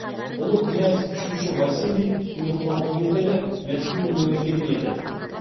ұлы князь үшінші василий билік құрған кездегі мәскеу мемлекеті еді